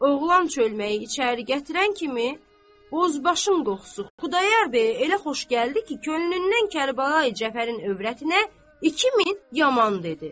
Oğlan çölməyi içəri gətirən kimi bozbaşın qoxusu Xudayar bəyə elə xoş gəldi ki, könlündən Kərbəlayı Cəfərin övrətinə 2000 yaman dedi.